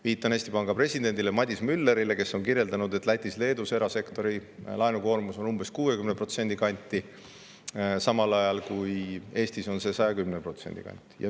Viitan Eesti Panga presidendile Madis Müllerile, kes on kirjeldanud, et Lätis ja Leedus on erasektori laenukoormus umbes 60%, samal ajal kui Eestis on see 110% kanti.